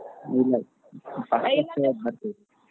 ಇಲ್ಲಾ ಬರ್ತೀವಿ.